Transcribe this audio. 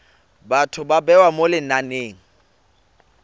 batho ba bewa mo lenaneng